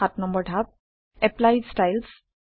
৭ নম্বৰ ধাপ - apply styles